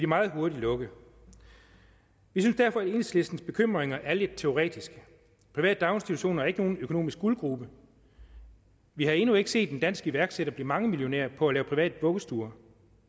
meget hurtigt lukke vi synes derfor at enhedslistens bekymringer er lidt teoretiske private daginstitutioner er ikke nogen økonomisk guldgrube vi har endnu ikke set en dansk iværksætter blive mangemillionær på at lave private vuggestuer